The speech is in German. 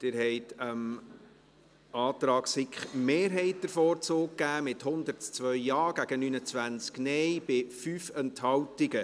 Sie haben dem Antrag SiK-Mehrheit den Vorzug gegeben, mit 102 Ja- gegen 29 Nein-Stimmen bei 5 Enthaltungen.